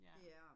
Ja